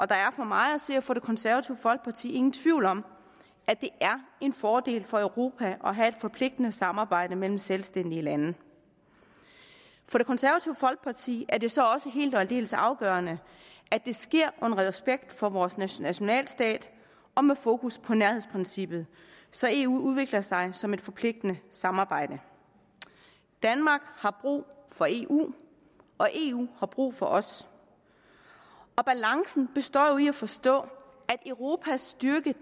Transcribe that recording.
der er for mig at se og for det konservative folkeparti ingen tvivl om at det er en fordel for europa at have et forpligtende samarbejde mellem selvstændige lande for det konservative folkeparti er det så også helt og aldeles afgørende at det sker i respekt for vores nationalstat og med fokus på nærhedsprincippet så eu udvikler sig som et forpligtende samarbejde danmark har brug for eu og eu har brug for os og balancen består jo forstå at europas styrke